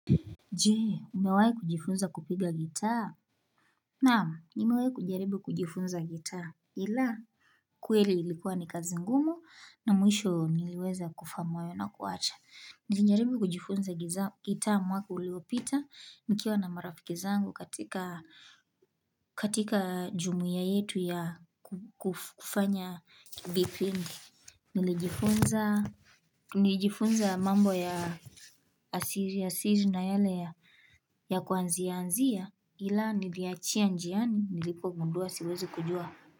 Je umewahi kujifunza kupiga gitaa Naam nimewahi kujaribu kujifunza gitaa ila kweli ilikuwa ni kazi ngumu na mwisho niliweza kufahamu hayo na kuacha Nilijaribu kujifunza gitaa mwaka uliopita nikiwa na marafiki zangu katika katika jumuiya yetu ya kufanya vipindi Nilijifunza mambo ya asili asili na yale ya kuanzia anzia ila niliachia njiani nilipogundua siwezi kujua.